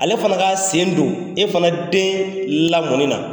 Ale fana ka sen don e fana den lamƆni na.